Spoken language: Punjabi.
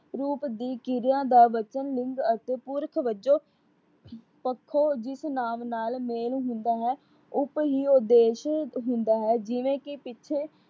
ਰੂਪ ਦੀ ਕਿਰਿਆ ਦਾ ਬਚਨ ਲਿੰਗ ਅਤੇ ਪੁਰਖ ਵਜੋਂ ਪੱਖੋਂ, ਜਿਸ ਨਾਮ ਨਾਲ ਮੇਲ ਹੁੰਦਾ ਹੈ। ਹੀ ਉਦੇਸ਼ ਹੁੰਦਾ ਹੈ, ਜਿਵੇ ਕਿ ਪਿੱਛੇ